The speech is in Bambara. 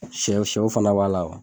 Shɛw shɛw fana b'a la